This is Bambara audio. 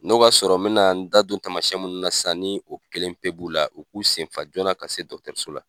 N'o b'a sɔrɔ n me na n da don tamasiyɛn munnu na sisan ni o kelen pe b'u la u k'u senfa joona ka se dɔgɔtɔrɔso la.